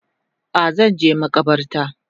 A Zanje makabarta